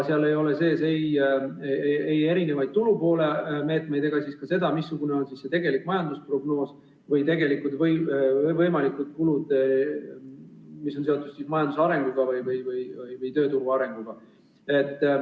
Seal ei ole sees tulupoole meetmeid ega ka seda, missugune on tegelik majandusprognoos või missugused on tegelikud võimalikud kulud, mis on seotud majanduse või tööturu arenguga.